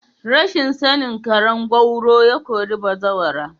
Rashin sani karen gwauro ya kori bazawara.